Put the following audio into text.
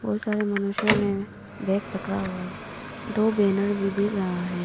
बहुत सारे मनुष्य ने बैग पकड़ा हुआ है दो बैनर भी दिख रहा है।